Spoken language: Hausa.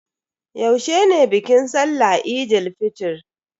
Yaushe ne bikin sallahn Eid fitr?